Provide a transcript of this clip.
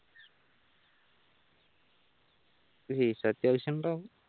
fees അത്യാവശ്യം ഉണ്ടാവും